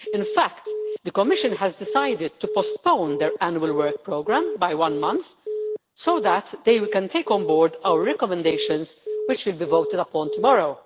In fact, the Commission has decided to postpone their Annual Work Programme by one month, so that they can take on board our recommendations, which will be voted upon tomorrow.